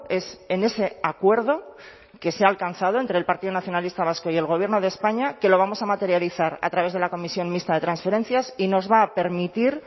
es en ese acuerdo que se ha alcanzado entre el partido nacionalista vasco y el gobierno de españa que lo vamos a materializar a través de la comisión mixta de transferencias y nos va a permitir